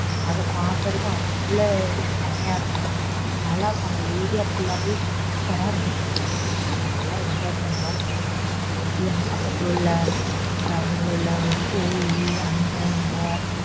அத பாக்குறதுக்கு அவளோ செம்மயா இருக்கும் நல்ல இருக்கும் அந்த area full ஆவே super ஆஹ் இருந்துச்சு நாங்க நல்லா enjoy பண்ணோம் இங்க பக்கத்துல உள்ள கோவில் அங்க அங்க